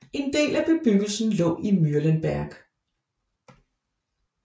En del af bebyggelsen lå i Mühlenberg